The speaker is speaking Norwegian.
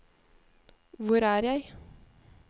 hvor er jeg